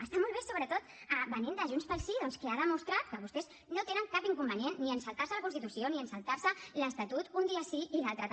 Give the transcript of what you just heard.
està molt bé sobretot venint de junts pel sí doncs que ha demostrat que vostès no tenen cap inconvenient ni en saltar se la constitució ni en saltar se l’estatut un dia sí i l’altre també